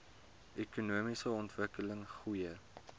ekonomiese ontwikkeling goeie